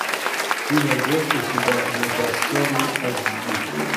ты найдешь у себя непрощенный аш ди